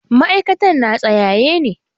ma'aikatan na tsayaye ne.